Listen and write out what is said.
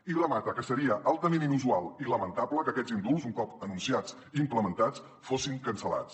i remata que seria altament inusual i lamentable que aquests indults un cop anunciats i implementats fossin cancel·lats